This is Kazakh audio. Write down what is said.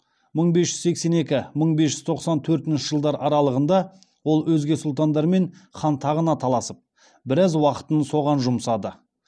мың бес жүз сексен екі мың бес жүз тоқсан төртінші жылдар аралығында ол өзге сұлтандармен хан тағына таласып біраз уақытын соған жұмсады